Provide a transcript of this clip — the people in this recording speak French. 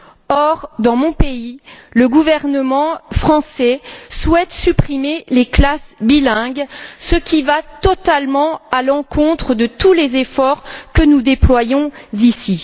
Or, dans mon pays, la France, le gouvernement souhaite supprimer les classes bilingues, ce qui va totalement à l'encontre de tous les efforts que nous déployons ici.